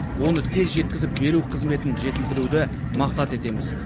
оны тез жеткізіп беру қызметін жетілдіруді мақсат етеміз